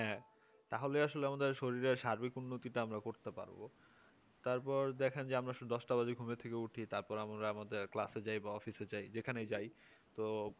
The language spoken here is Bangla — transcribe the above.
হ্যাঁ তাহলে আসলে আমাদের শরীরে সার্বিক উন্নতি তা আমরা করতে পারব তারপর দেখা যায় যে দশটা বাজুক আমরা ঘুম থেকে উঠি তারপর আমরা আমাদের ক্লাসে যাইবা অফিসে যাই যেখানে তাই তো